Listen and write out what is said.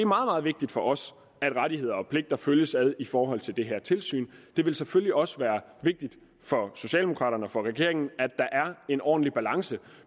meget vigtigt for os at rettigheder og pligter følges ad i forhold til det her tilsyn det vil selvfølgelig også være vigtigt for socialdemokraterne og for regeringen at der er en ordentlig balance